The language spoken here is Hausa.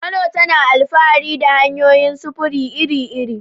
Kano tana alfahari da hanyoyin sufuri iri-iri.